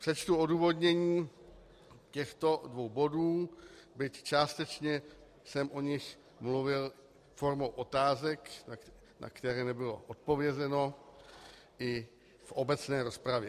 Přečtu odůvodnění těchto dvou bodů, byť částečně jsem o nich mluvil formou otázek, na které nebylo odpovězeno, i v obecné rozpravě.